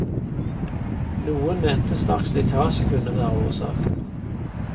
Noen mente sterk slitasje kunne være årsaken.